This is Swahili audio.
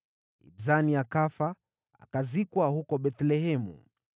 Ibzani akafa, akazikwa huko Bethlehemu.